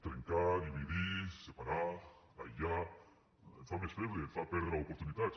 trencar dividir separar aïllar et fa més feble et fa perdre oportunitats